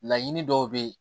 Laɲini dɔw bɛ ye